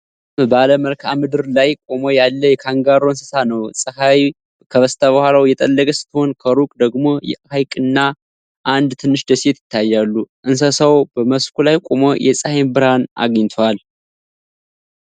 ጨለመ ባለ መልክዓ ምድር ላይ ቆሞ ያለ የካንጋሮ እንስሳ ነው። ፀሐይ ከበስተኋላው እየጠለቀች ስትሆን፣ ከሩቅ ደግሞ ሐይቅና አንድ ትንሽ ደሴት ይታያሉ። እንስሳው በመስኩ ላይ ቆሞ የፀሐይን ብርሃን አግኝቷል።